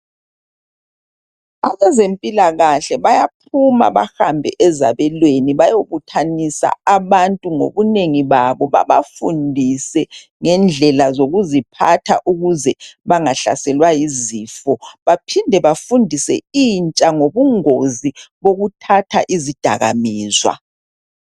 Abezempilakahle bayaphuma bahambe ezabelweni bayobuthanisa abantu ngobunengi babo babafundise ngendlela zokuziphatha ukuze bangahlaselwa yizifo. Baphinde bafundise intsha ngobungozi bokuthatha izidakamizwa.